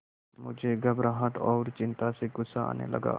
मुझे घबराहट और चिंता से गुस्सा आने लगा